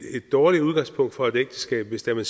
dårligt udgangspunkt for et ægteskab hvis den